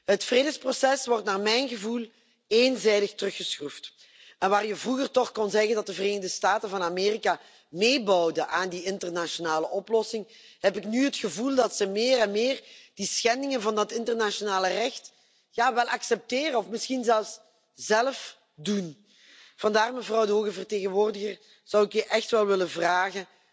Het vredesproces wordt naar mijn gevoel eenzijdig teruggeschroefd. En waar je vroeger toch kon zeggen dat de Verenigde Staten van Amerika meebouwden aan de internationale oplossing, heb ik nu het gevoel dat ze meer en meer de schendingen van het internationaal recht wel accepteren of misschien zelfs zelf begaan. Vandaar, mevrouw de hoge vertegenwoordiger, zou ik je willen vragen